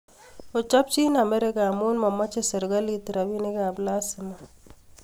`ochopchi amerika amu mamache serikali rabinik ap lazima